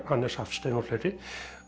Hannes Hafstein og fleiri